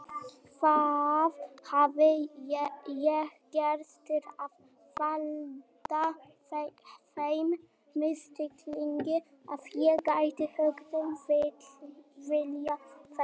Hvað hafði ég gert til að valda þeim misskilningi að ég gæti hugsanlega viljað þetta?